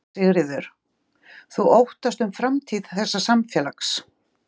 Sigríður: Þú óttast um framtíð þessa samfélags?